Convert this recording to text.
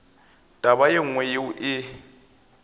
taba ye nngwe yeo e